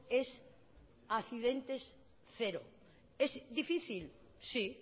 es accidentes cero es difícil sí